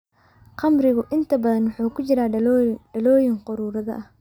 Khamrigu inta badan wuxuu ku jiraa dhalooyin quruuraad ah.